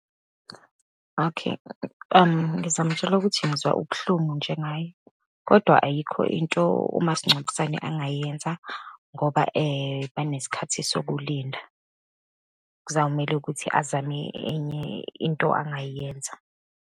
Okay, ngizamtshela ukuthi ngizwa ubuhlungu njengaye, kodwa ayikho into umasingcwabisane angayenza, ngoba banesikhathi sokulinda. Kuzawumele ukuthi azame enye into angayenza.